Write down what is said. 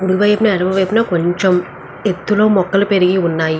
అటు వైపున యడం వైపున కొంచెం ఎత్తులో మొక్కలు పెరిగి ఉన్నాయి.